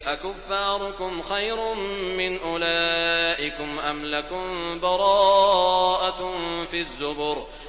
أَكُفَّارُكُمْ خَيْرٌ مِّنْ أُولَٰئِكُمْ أَمْ لَكُم بَرَاءَةٌ فِي الزُّبُرِ